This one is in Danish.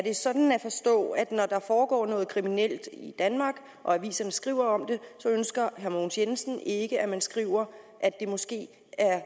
det sådan at forstå at når der foregår noget kriminelt i danmark og aviserne skriver om det så ønsker herre mogens jensen ikke at man skriver at det måske er